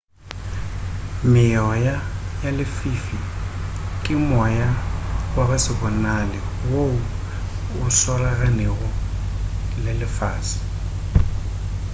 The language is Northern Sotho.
meoya ya lefifi ke moya wa go se bonale woo o swaraganego le lefase